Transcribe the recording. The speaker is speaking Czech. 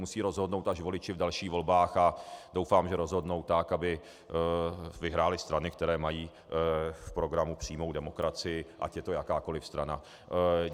Musí rozhodnout až voliči v dalších volbách a doufám, že rozhodnou tak, aby vyhrály strany, které mají v programu přímou demokracii, ať je to jakákoli strana.